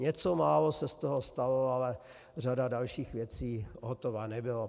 Něco málo se z toho stalo, ale řada dalších věcí hotova nebyla.